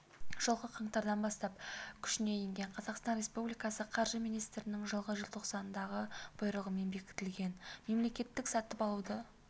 жылғы қаңтардан бастап күшіне енген қазақстан республикасы қаржы министрінің жылғы желтоқсандағы бұйрығымен бекітілген мемлекеттік сатып алуды